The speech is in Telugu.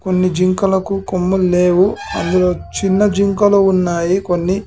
కొన్ని జింకలకు కొమ్ముల్ లేవు అందులో చిన్న జింకలు ఉన్నాయి కొన్ని--